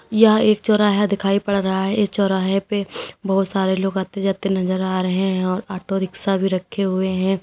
या एक चौराहा दिखाई पड़ रहा है इस चौराहे पे बहुत सारे लोग आते जाते नजर आ रहे हैं और ऑटो रिक्शा भी रखे हुए हैं।